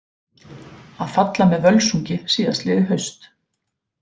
Að falla með Völsungi síðastliðið haust.